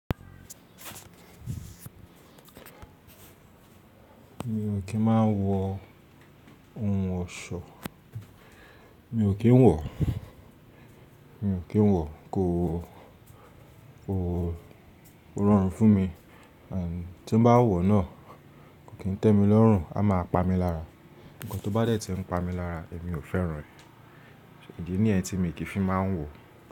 Mi ò kí ń máa ń wọ ohun ọ̀ṣọ́. Mi ò kí ń wọ̀, mi ò kí ń wọ̀. Kò, kò rọrùn fún mi. À ti mo bá wọ̀ náà kò kí ń tẹ́mi lọ́rùn, a máa pa mí lára. Ǹkan tó bá dẹ́ tí ń pa mí lára èmi ò fẹ́ràn rẹ̀. Ìdí ni yẹn tí míì kí fi má ń wo.